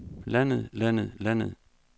landet landet landet